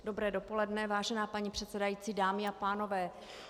Dobré dopoledne, vážená paní předsedající, dámy a pánové.